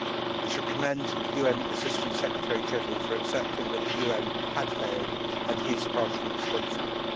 We should commend the UN Assistant Secretary General for accepting that the UN had failed and is partially responsible.